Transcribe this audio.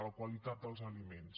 la qualitat dels aliments